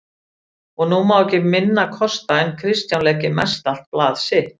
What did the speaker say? Og nú má ekki minna kosta en Kristján leggi mestallt blað sitt